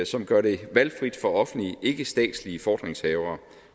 som gør det valgfrit for offentlige ikkestatslige fordringshavere